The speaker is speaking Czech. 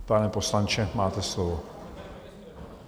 Pane poslanče, máte slovo.